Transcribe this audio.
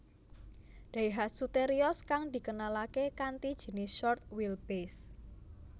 Daihatsu Terios kang dikenalaké kanthi jinis short wheelbase